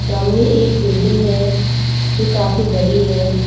सामने एक बिल्डिंग है जो काफी बड़ी है।